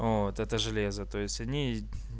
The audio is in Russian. вот это железо то есть они